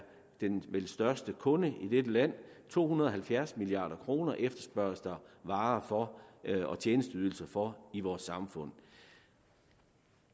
den største kunde i dette land to hundrede og halvfjerds milliard kroner efterspørges der varer og tjenesteydelser for i vores samfund